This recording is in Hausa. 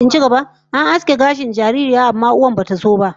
An aske gashin kan sabuwar jaririyar, amma uwar ta bata so ba